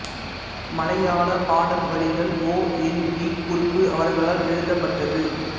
மலையாள பாடல் வரிகள் ஓ என் வி குறுப்பு அவர்களால் எழுதப்பட்டது